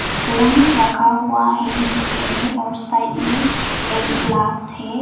Spoon रखा हुआ है नीचे में और साइड में एक ग्लास है।